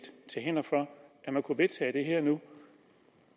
er til hinder for at man kunne vedtage det her nu